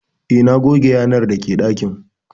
Eh, na goge yanar dake dakin